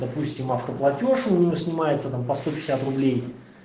допустим автоплатеж у него снимается там по сто пятьдесят рублей